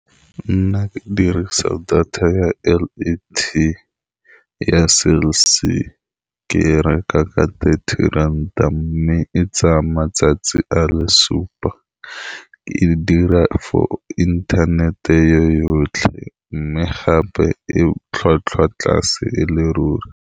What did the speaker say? Nna ke dirisa data ya L_T_E ya Cell C. Ke e reka ka di thirty ranta, mme e tsaya matsatsi a le supa. E dira for internet-e e yotlhe, mme gape e tlhwatlhwa tlase e le ruri.